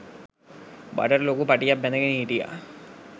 බඩට ලොකු පටියක් බැඳගෙන හිටියා.